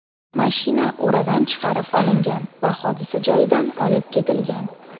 Mashina o‘radan chiqarib olingan va hodisa joyidan olib ketilgan.